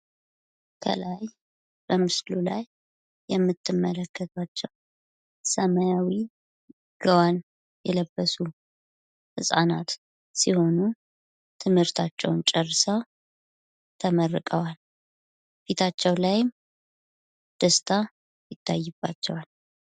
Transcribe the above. ከላይ በምስሉ ላይ የምትመለከቷቸው ሰማያዊ ጋወን የለበሱ ህፃናት ሲሆኑ ትምህርታቸውን ጨርሰው ተመርቀዋል። ፊታቸው ላይም ደስታ ይታይባቸዋል።